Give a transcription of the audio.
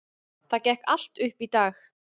Það gekk allt upp í dag.